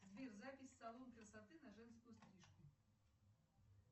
сбер запись в салон красоты на женскую стрижку